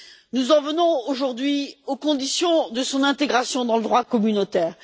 Nous en venons aujourd'hui aux conditions de son intégration dans le droit communautaire.